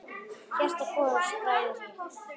Hjarta hvorugs bræðir hitt.